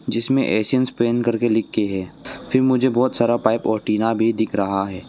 जिसमें एशियनपेंन कर के लिख के है फिर मुझे बहुत सारा पाइप और टीना भी दिख रहा है।